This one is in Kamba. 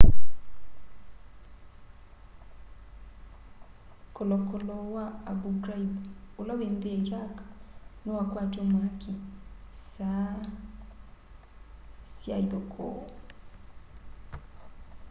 kolokolo wa abu ghraib ula wĩ nthi ya iraq niwakwatw'a mwaki saa sya ithokoo